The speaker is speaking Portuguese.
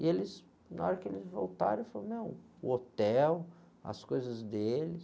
E eles, na hora que eles voltaram, ele falou, meu, o hotel, as coisas deles...